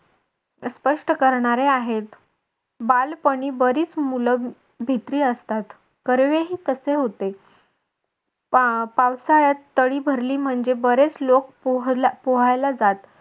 स्पष्ट करणारे आहेत. बालपणी बरीच मूल भित्री असतात कर्वे ही तसे होते पावसाळ्यात तळी भरली म्हणजे बरेच लोक पोहला पोहायला जात